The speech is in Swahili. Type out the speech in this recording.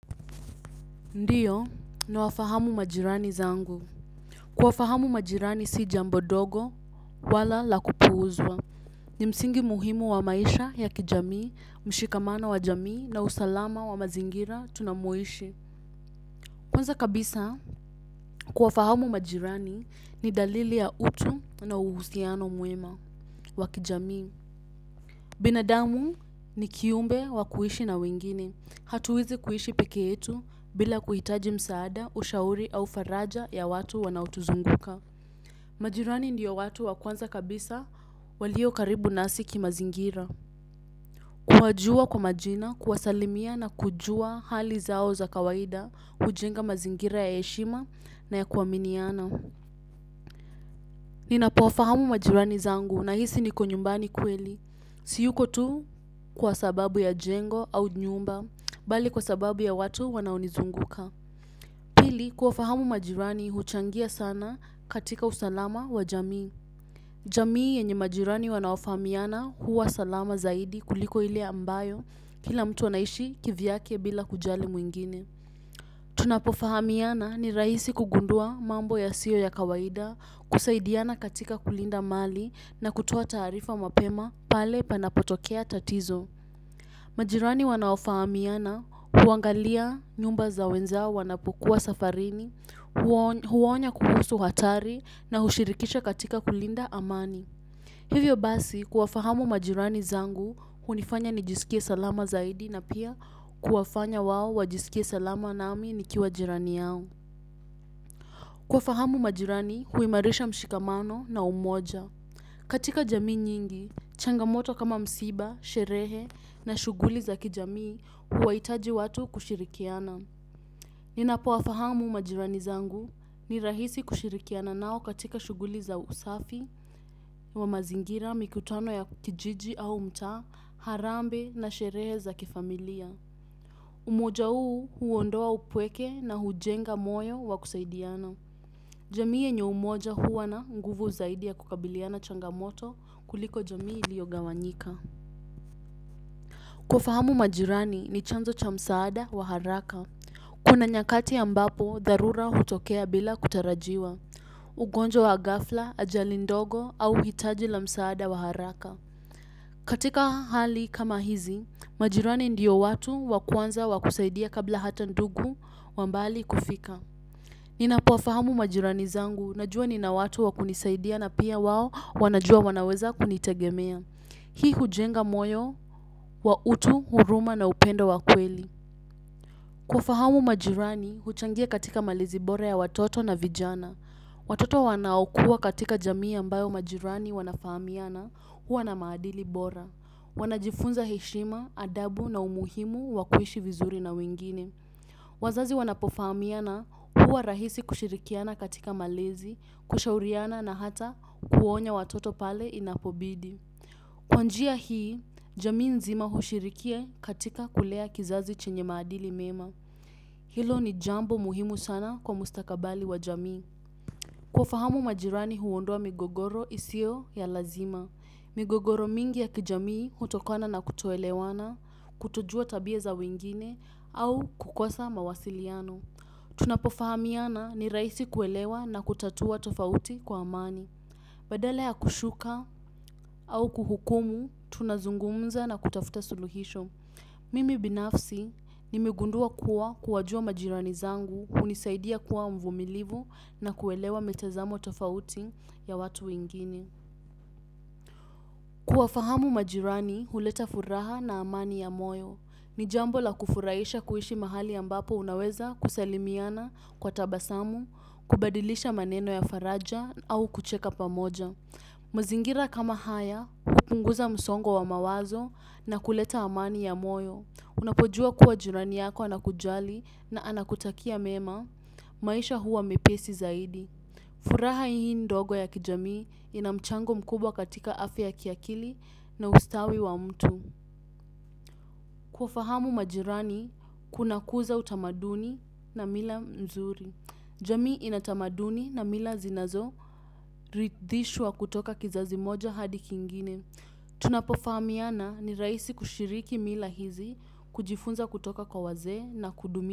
Ndiyo, nawafahamu majirani zangu. Kuwafahamu majirani si jambo dogo, wala la kupuuzwa. Ni msingi muhimu wa maisha ya kijamii, mshikamano wa jamii na usalama wa mazingira tunamoishi. Kwanza kabisa, kuwafahamu majirani ni dalili ya utu na uhusiano mwema wa kijamii. Binadamu ni kiumbe wa kuishi na wengine. Hatuwezi kuishi peke yetu bila kuhitaji msaada ushauri au faraja ya watu wanaotuzunguka. Majirani ndiyo watu wa kwanza kabisa waliokaribu nasi kimazingira. Kuwajua kwa majina, kuwasalimia na kujua hali zao za kawaida hujenga mazingira ya eshima na ya kuaminiana. Ninapowafahamu majirani zangu nahisi niko nyumbani kweli. Siyuko tu kwa sababu ya jengo au nyumba bali kwa sababu ya watu wanaonizunguka. Pili kuwafahamu majirani huchangia sana katika usalama wa jamii. Jamii yenye majirani wanaofahamiana huwa salama zaidi kuliko ile ambayo kila mtu anaishi kivyake bila kujali mwingine. Tunapofahamiana ni rahisi kugundua mambo yasiyo ya kawaida kusaidiana katika kulinda mali na kutoa taarifa mapema pale panapotokea tatizo. Majirani wanaofahamiana huangalia nyumba za wenzao wanapukua safarini, huwaonya kuhusu hatari na hushirikisha katika kulinda amani. Hivyo basi kuwafahamu majirani zangu hunifanya nijisikie salama zaidi na pia kuwafanya wao wajisikie salama nami nikiwa jirani yao. Kuwafahamu majirani huimarisha mshikamano na umoja. Katika jamii nyingi, changamoto kama msiba, sherehe na shughuli za kijamii huwaitaji watu kushirikiana. Ninapowafahamu majirani zangu ni rahisi kushirikiana nao katika shughuli za usafi wa mazingira mikutano ya kijiji au mtaa, harambe na sherehe za kifamilia. Umoja uu huondoa upweke na hujenga moyo wa kusaidiana. Jamii yenye umoja huwa na nguvu zaidi ya kukabiliana changamoto kuliko jamii iliogawanyika. Kuwafahamu majirani ni chanzo cha msaada wa haraka. Kuna nyakati ambapo, dharura hutokea bila kutarajiwa. Ugonjwa wa gafla, ajali ndogo au hitaji la msaada wa haraka. Katika hali kama hizi, majirani ndio watu wa kwanza wa kusaidia kabla hata ndugu wa mbali kufika. Ninapowafahamu majirani zangu, najua nina watu wa kunisaidia na pia wao wanajua wanaweza kunitegemea. Hii hujenga moyo, wa utu, huruma na upendo wa kweli. Kuwafahamu majirani, huchangia katika malezi bora ya watoto na vijana. Watoto wanaokua katika jamii ambayo majirani wanafahamiana, huwa na maadili bora. Wanajifunza heshima, adabu na umuhimu, wa kuishi vizuri na wengine. Wazazi wanapofahamiana huwa rahisi kushirikiana katika malezi, kushauriana na hata kuonya watoto pale inapobidi. Kwa njia hii, jamii nzima hushiriki katika kulea kizazi chenye maadili mema. Hilo ni jambo muhimu sana kwa mustakabali wa jamii. Kuwafahamu majirani huondoa migogoro isio ya lazima. Migogoro mingi ya kijamii hutokona na kutoelewana, kutojua tabia za wengine, au kukosa mawasiliano. Tunapofahamiana ni raisi kuelewa na kutatua tofauti kwa amani. Badala ya kushuka au kuhukumu, tunazungumza na kutafuta suluhisho. Mimi binafsi nimegundua kuwa kuwajua majirani zangu hunisaidia kuwa mvumilivu na kuelewa mitezamo tofauti ya watu wengine. Kuwafahamu majirani huleta furaha na amani ya moyo. Ni jambo la kufuraisha kuishi mahali ambapo unaweza kusalimiana kwa tabasamu. Kubadilisha maneno ya faraja au kucheka pamoja. Mazingira kama haya, hupunguza msongo wa mawazo na kuleta amani ya moyo. Unapojua kuwa jirani yako anakujali na anakutakia mema, maisha huwa mepesi zaidi. Furaha hii ndogo ya kijamii ina mchango mkubwa katika afya ya kiakili na ustawi wa mtu. Kuwafahamu majirani kunakuza utamaduni na mila mzuri. Jamii ina tamaduni na mila zinazorithishwa kutoka kizazi moja hadi kingine. Tunapofahamiana ni raisi kushiriki mila hizi, kujifunza kutoka kwa wazee na kudumi.